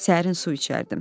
Səhərin su içərdim.